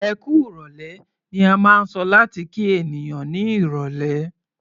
"Ẹkú ìrọ̀lẹ́" ni a máa ń sọ láti kí ènìyàn ní irọ̀lẹ́.